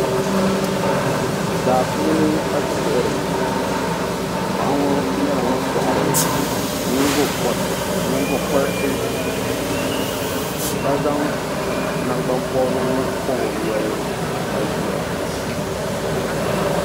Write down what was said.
Daa puuni ka ti lihiri ŋɔ ka paɣa ŋɔ nyɛla ŋun kɔhiri nyiŋgokɔriti ka zaŋ nangbampɔbirigu pɔbi o noli ka ʒia.